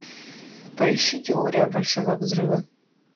поищи теория большого взрыва